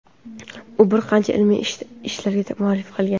U bir qancha ilmiy ishlarga mualliflik qilgan.